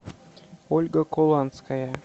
ольга куланская